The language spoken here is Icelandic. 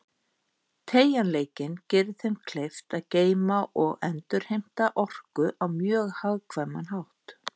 Teygjanleikinn gerir þeim kleift að geyma og endurheimta orku á mjög hagkvæman hátt.